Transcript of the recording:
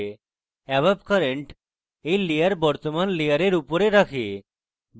above current এই layer বর্তমান layer উপরে রাখে